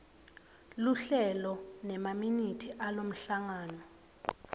luhlelo nemaminithi alomhlangano